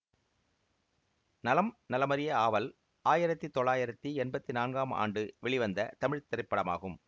நலம் நலமறிய ஆவல் ஆயிரத்தி தொள்ளாயிரத்தி எம்பத்தி நான்காம் ஆண்டு வெளிவந்த தமிழ் திரைப்படமாகும்